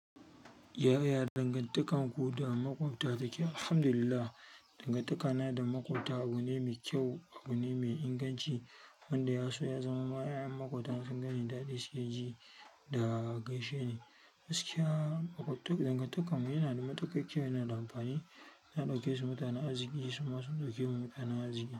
Yaya dangantakarku da makwabta take? Alhamdulillah, dangantakana da makwabta abu ne mai kyau, abu ne mai inganci wanda ya so ya zamama 'ya'yan makwabtan in sun ganni da daɗi, su ke ji da gaishe ni. Askiya, dangantakarmu yana da matuƙa kyau, yana da amfani. Na ɗauke su mutanen aziki, su ma sun ɗauke mu mutanen aziki.